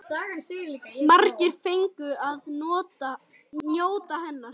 Margir fengu að njóta hennar.